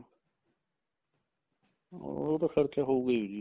ਉਹ ਤਾਂ ਫਰਕ ਹੋਊਗਾ ਜੀ